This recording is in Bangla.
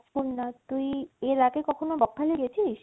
তাজপুর না তুই এর আগে কখনো বকখালি গেছিস?